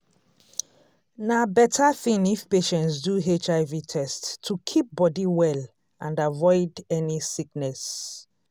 na better thing if patients do hiv test to keep body well and avoid any sickness.